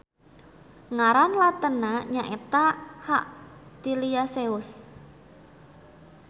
Ngaran latenna nyaeta H. tiliaceus.